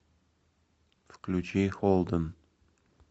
включи холдэн